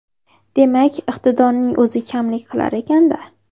Demak iqtidorning o‘zi kamlik qilar ekanda?